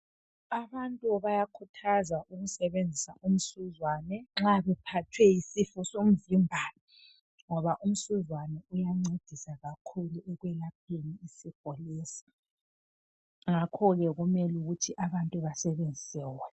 Abantu bayakuthazwa ukusebenzisa umsuzwane nxa bephathwe yisifo somvimbano. Ngoba umsuzwane uyancedisa kakhulu ekwelapheni isifo lesi. Ngakhoke kumele ukuthi abantu basebenzise wona.